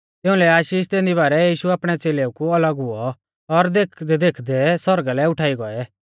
तिउंलै आशीष दैंदी बारै यीशु आपणै च़ेलेऊ कु अलग हुऔ और देखणदेखदु सौरगा लै उठाई गौऐ